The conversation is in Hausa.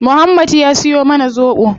Muhammad ya siyo mana zobo